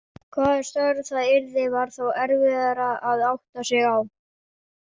Hvaða starf það yrði var þó erfiðara að átta sig á.